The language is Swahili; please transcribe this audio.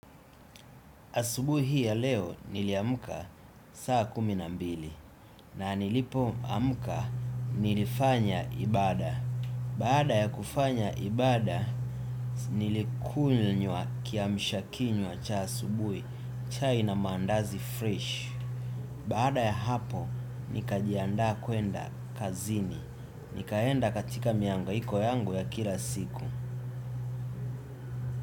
Asubuhi hii ya leo niliamka saa kumi na mbili na nilipo amka nilifanya ibada. Baada ya kufanya ibada, nilikunywa kiamsha kinywa cha asubui, chai na mandazi fresh. Baada ya hapo, nikajianda kuenda kazini. Nikaenda katika miangaiko yangu ya kila siku.